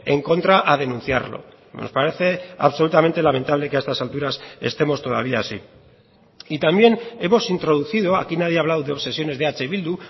en contra a denunciarlo nos parece absolutamente lamentable que a estas alturas estemos todavía así y también hemos introducido aquí nadie ha hablado de obsesiones de eh bildu